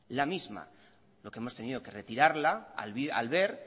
lo que hemos tenido que retirarla al ver